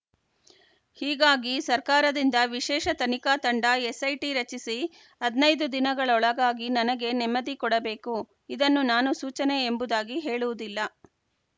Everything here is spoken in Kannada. ಹೀಗಾಗಿ ಸರ್ಕಾರದಿಂದ ವಿಶೇಷ ತನಿಖಾ ತಂಡ ಎಸ್‌ಐಟಿ ರಚಿಸಿ ಹದಿನೈದು ದಿನಗಳೊಳಗಾಗಿ ನನಗೆ ನೆಮ್ಮದಿ ಕೊಡಬೇಕು ಇದನ್ನು ನಾನು ಸೂಚನೆ ಎಂಬುದಾಗಿ ಹೇಳುವುದಿಲ್ಲ